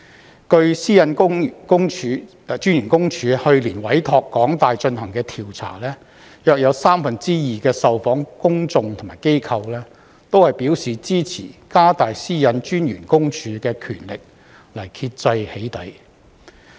根據個人資料私隱專員公署去年委託香港大學進行的調查，約有三分之二的受訪公眾和機構都表示支持加大私隱公署的權力來遏制"起底"。